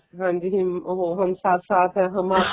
ਹਾਂਜੀ ਉਹ ਹਮ ਸਾਥ ਸਾਥ ਹੈਂ